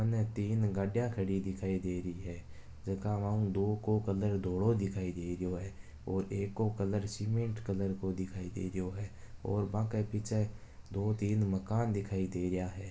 सामने तीन गाडिया खड़ी दिखाई दे रही है जका में आंके दो को कलर धोलो दिखाई दे रहियो है और एक को कलर सिमेट कलर को दिखाई दे रहियो है और बांके पीछे दो तीन मकान दिखाई दे रहिया है।